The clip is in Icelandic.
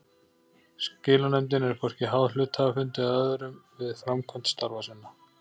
Skilanefndin er hvorki háð hluthafafundi eða öðrum við framkvæmd starfa sinna.